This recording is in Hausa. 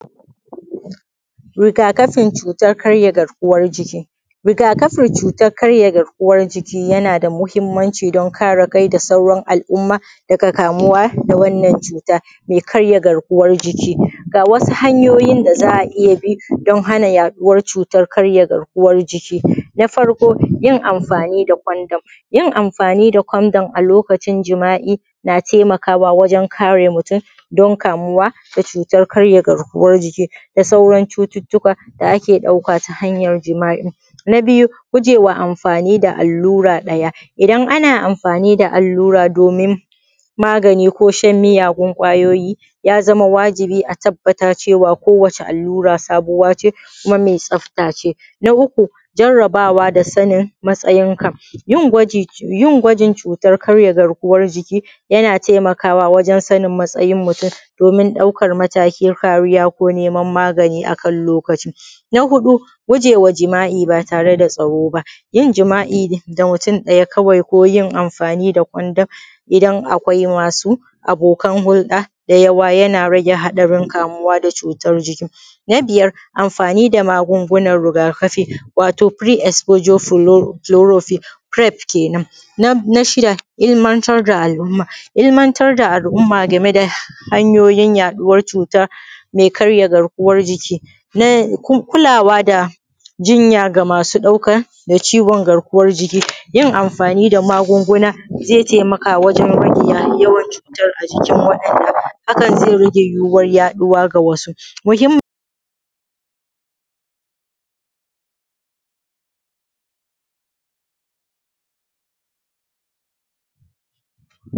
Rigakafin cutar karyaˋ garkuwan jikiˋ. Rigakafin cutan karyaˋ garkuwan jikiˋ yanaˋ da mahimmanciˋ don kareˋ kai da sauran al’umma dagaˋ kamuwaˋ da wannan cutaˋ mai karyaˋ garkuwan jikiˋ. Ga wasuˋ hanyoyin da za a iya bi don hanaˋ yaduwan cutan karyaˋ garkuwaˋ jikiˋ. Na farkoˋ yin amfaˋ da condom, yin amfaniˋ da condom alokacin jima’i yanaˋ taimakawaˋ wajen kareˋ mutum don kamuwaˋ da cutan karyaˋ garkuwan jikiˋ, da sauran cututukaˋ da ake daukaˋ ta hanyar jima’i. Na biyuˋ gujewaˋ amfaniˋ da alluraˋ dayaˋ, idan ana amfaniˋ da alluraˋ domin maganiˋ ko shan muyagun kwayoyiˋ, ya zamaˋ wajibiˋ a tabbata kowaˋ ce alluraˋ sabuwaˋ ce kumaˋ mai tsafta ce. Na uku jarrabawaˋ da sanin matsayinkaˋ, yin gwajin cutar karyaˋ garkuwan jikiˋ yanaˋ taimakawaˋ wajen sanin matsayin mutum domin daukan matakin kariyaˋ ko neman maganiˋ akan lokaciˋ. Na huɗuˋ gujewaˋ jima’i ba tareˋ da tsaroˋ baˋ, yin jima’i da mutum dayaˋ kawai ko yin amfaniˋ da kondam idan akwai masuˋ abokan huldaˋ da yawaˋ yanaˋ rageˋ haɗarin kamuwaˋ da cutan jikin. Na biyar amfaniˋ da magungunan rigakafiˋ watoˋ firiˋ ispojoˋ fulorafiˋfiref kenen. Na shidaˋ ilmantar da al’umma, ilmantaˋ da al’umma gameˋ da hanyoyin yaɗuwan cutaˋ mai karyaˋ garkuwan jikiˋ, kulawaˋ da jinyaˋ ga masuˋ daukeˋ daˋ ciwon garkuwan jikiˋ, yin amfaniˋ da magungunaˋ zai taimakaˋ wajen rageˋ yawan yaduwan cutan a jikin, hakan zai rageˋ yiwuwan yaɗuwaˋ ga wasuˋ.